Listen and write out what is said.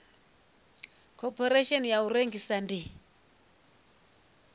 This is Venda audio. khophorethivi ya u rengisa ndi